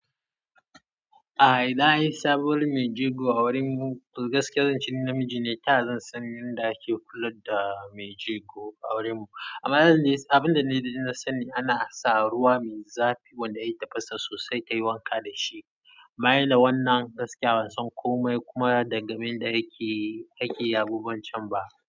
A idan an yi sabuwar mai jego a gurimu toh gaskiya zan ce ni namiji ne ta yaya zan san yanda ake kula da mai jego a gurin mu amma abin da na sani ana sa ruwa mai zafi wanda ya tafasa sossai tayi wanka dashi. Baya da wannan gaskiya ban san komai kuma dangane da yanda ake ake yin abubuwan can ba.